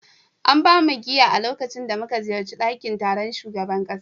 An ba mu giya a lokacin da muka ziyarci dakin taron shugaban kasa